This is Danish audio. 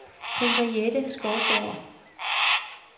Henriette Skovgaard